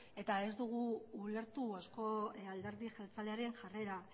eta ez dugu ulertu eusko alderdi jeltzalearen jarrera